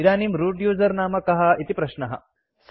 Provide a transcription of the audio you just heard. इदानीं root user नाम कः इति प्रश्नः